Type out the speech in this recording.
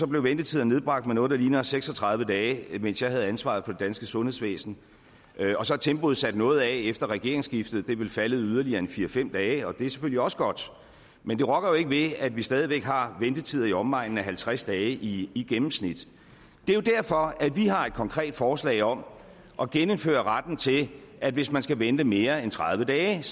blev ventetiderne nedbragt med noget der ligner seks og tredive dage mens jeg havde ansvaret for det danske sundhedsvæsen og så er tempoet taget noget af efter regeringsskiftet det er vel faldet yderligere fire fem dage og det er selvfølgelig også godt men det rokker jo ikke ved at vi stadig væk har ventetider i omegnen af halvtreds dage i gennemsnit det er jo derfor at vi har et konkret forslag om at genindføre retten til at hvis man skal vente i mere end tredive dage